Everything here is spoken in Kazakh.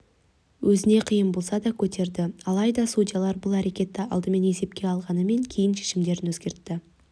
өзіне қиын болса да көтерді алайда судьялар бұл әрекетті алдымен есепке алғанмен кейін шешімдерін өзгертті